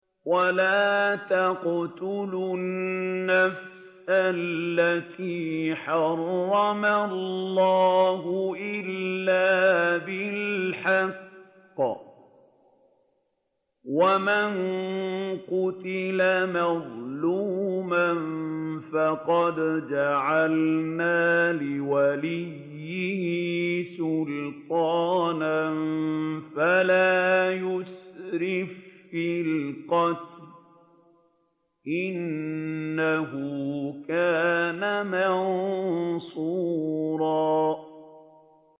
وَلَا تَقْتُلُوا النَّفْسَ الَّتِي حَرَّمَ اللَّهُ إِلَّا بِالْحَقِّ ۗ وَمَن قُتِلَ مَظْلُومًا فَقَدْ جَعَلْنَا لِوَلِيِّهِ سُلْطَانًا فَلَا يُسْرِف فِّي الْقَتْلِ ۖ إِنَّهُ كَانَ مَنصُورًا